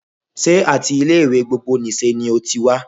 Sé áti ilé ìwé gbogbo nìse ni o ti wá?